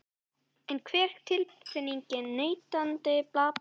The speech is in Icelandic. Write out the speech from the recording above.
En hver er tilfinningin neytenda, finnst þeim vöruverð hafa lækkað?